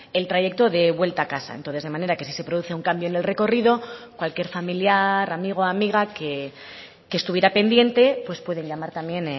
el trayecto de vuelta a casa entonces de manera que si se produce un cambio en el recorrido cualquier familiar amigo amiga que estuviera pendiente pues pueden llamar también